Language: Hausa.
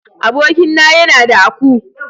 Abokin na ya na da aku.